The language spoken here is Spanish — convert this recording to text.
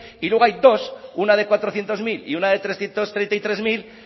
y luego hay dos una de cuatrocientos mil y una de trescientos treinta y tres mil